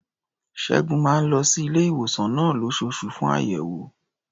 Ṣẹ́gun máa ń lọ sí ilé-ìwòsàn náà lóṣooṣù fún àyẹ̀wò.